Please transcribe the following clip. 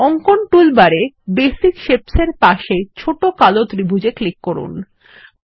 অঙ্কন টুলবার এ basic shapes এর পাশের ছোট কালো ত্রিভুজ এ ক্লিক করুন